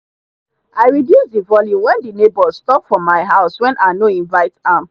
i reduce the volume when the neighbors stop for my house when i no invite am.